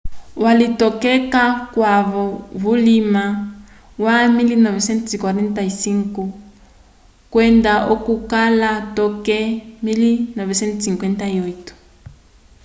walitokeka k'okwavo vulima wa 1945 kwenda oko akala toke 1958